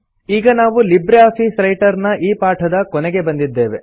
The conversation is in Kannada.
ಈಗ ನಾವು ಲಿಬ್ರೆ ಆಫೀಸ್ ರೈಟರ್ ನ ಈ ಪಾಠದ ಕೊನೆಗೆ ಬಂದಿದ್ದೇವೆ